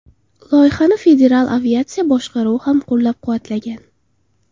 Loyihani Federal aviatsiya boshqaruvi ham qo‘llab-quvvatlagan.